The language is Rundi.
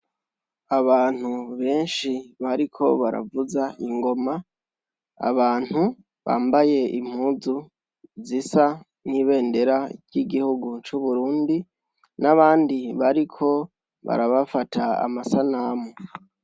Abantu benshi bariko baravuza ingoma, abantu bambaye impuzu zisa n'ibendera ry'igihugu c'uburundi n'abandi bariko barabafata amasanamu.